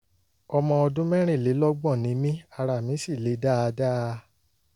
ọmọ ọdún mẹ́rìnlélọ́gbọ̀n ni mí ara mi sì le dáadáa